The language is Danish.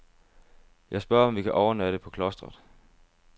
Jeg spørger om vi kan overnatte på klostret.